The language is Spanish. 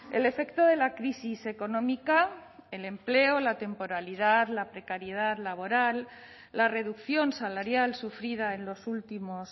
el efecto de la crisis económica el empleo la temporalidad la precariedad laboral la reducción salarial sufrida en los últimos